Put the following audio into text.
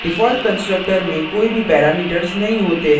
default constructor में कोई भी parameters नहीं होते हैं